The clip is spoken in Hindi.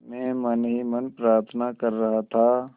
मैं मन ही मन प्रार्थना कर रहा था